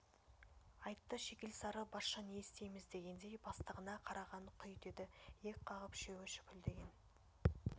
айтты шикілсары басшы не істейміз дегендей бастығына қараған құй деді иек қағып үшеуі шүпілдеген